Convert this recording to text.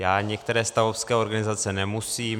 Já některé stavovské organizace nemusím.